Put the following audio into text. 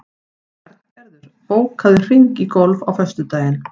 Bjarngerður, bókaðu hring í golf á föstudaginn.